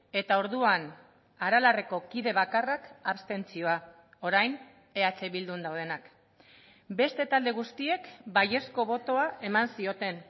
eta orduan aralarreko kide bakarrak abstentzioa orain eh bildun daudenak beste talde guztiek baiezko botoa eman zioten